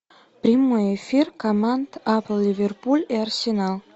прямой эфир команд апл ливерпуль и арсенал